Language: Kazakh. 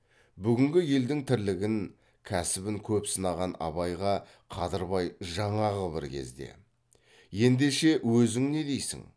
бүгінгі елдің тірлігін кәсібін көп сынаған абайға қадырбай жаңағы бір кезде ендеше өзің не дейсің